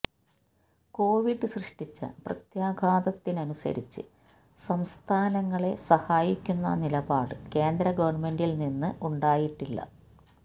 Covid സൃഷ്ടിച്ച പ്രത്യാഘാതത്തിനനുസരിച്ച് സംസ്ഥാനങ്ങളെ സഹായിക്കുന്ന നിലപാട് കേന്ദ്ര ഗവൺമെന്റിൽ നിന്ന് ഉണ്ടായിട്ടില്ല